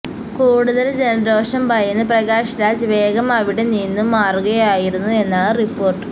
കൂടുതല് ജനരോഷം ഭയന്ന് പ്രകാശ് രാജ് വേഗം അവിടെ നിന്നും മാറുകയായിരുന്നു എന്നാണ് റിപ്പോര്ട്ട്